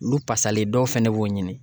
Olu fasalen dɔw fɛnɛ b'o ɲini